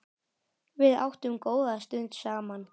Við áttum góða stund saman.